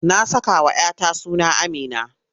Na sakawa 'ya ta suna Amina.